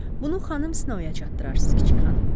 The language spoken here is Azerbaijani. Bunu xanım Snowa çatdırarsız, kiçik xanım.